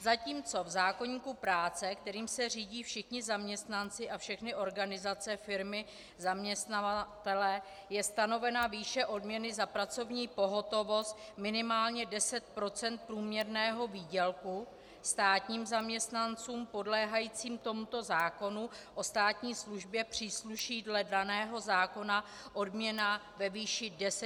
Zatímco v zákoníku práce, kterým se řídí všichni zaměstnanci a všechny organizace, firmy, zaměstnavatelé, je stanovena výše odměny za pracovní pohotovost minimálně 10 % průměrného výdělku, státním zaměstnancům podléhajícím tomuto zákonu o státní službě přísluší dle daného zákona odměna ve výši 10 % přesně.